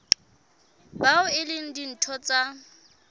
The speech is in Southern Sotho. bao e leng ditho tsa